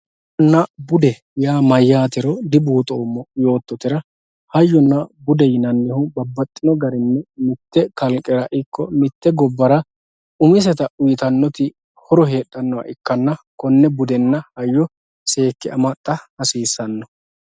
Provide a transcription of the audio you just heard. Hayyonna bude yaa maatiro dibuuxoommo yoottotera, hayyonna bude yinannihu babbaxxino garinni mite kalqera ikko mite gobbara umisetta uyittanoti budu heeranna, kone budenna hayyo seekke amaxa hasiisano.